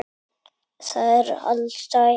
Og er alsæll.